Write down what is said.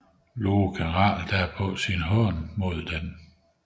Loke retter derpå sin hån mod denne